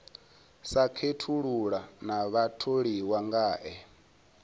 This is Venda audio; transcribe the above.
sa khethulula na vhatholiwa ngae